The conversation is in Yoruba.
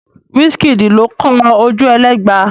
Wísííkìdì ló kọ Ojúẹlẹ́gba.